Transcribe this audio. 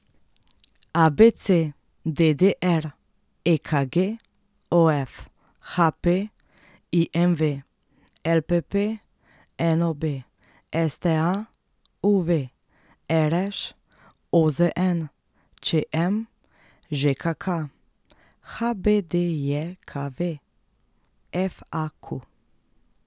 ABC, DDR, EKG, OF, HP, IMV, LPP, NOB, STA, UV, RŠ, OZN, ČM, ŽKK, HBDJKV, FAQ.